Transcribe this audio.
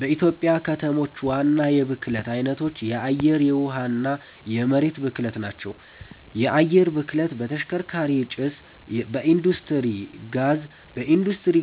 በኢትዮጵያ ከተሞች ዋና የብክለት አይነቶች የአየር፣ የውሃ እና የመሬት ብክለት ናቸው። የአየር ብክለት በተሽከርካሪ ጭስ፣ በኢንዱስትሪ